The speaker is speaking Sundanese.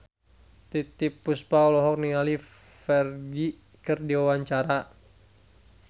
Titiek Puspa olohok ningali Ferdge keur diwawancara